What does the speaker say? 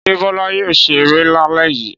Ṣé Bọ́lá yóò ṣe eré lálẹ́ yìí?